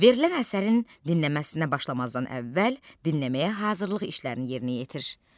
Verilən əsərin dinləməsinə başlamazdan əvvəl dinləməyə hazırlıq işlərini yerinə yetir.